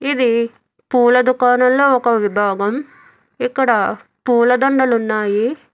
ఇది పూల దుకాణంలో ఒక విభాగం ఇక్కడ పూలదండలు ఉన్నాయి.